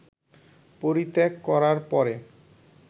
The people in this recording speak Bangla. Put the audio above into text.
পরিত্যাগ করার পরে